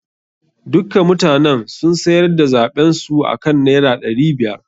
Dukka mutanen sun sayar da zaɓen su akan naira ɗari biyar.